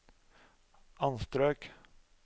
anstrøk